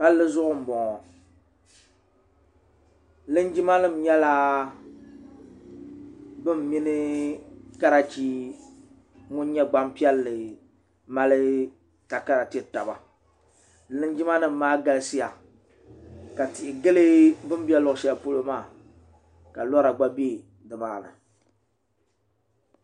palli zuɣu n bɔŋɔ linjima nim nyɛla bin mini karachi ŋun nyɛ gbanpiɛlli mali takara tiri taba linjima nim maa galisiya ka tihi gilu bi ni bɛ luɣu shɛli pɔlɔ maa ka lɔra gba bɛ nimaani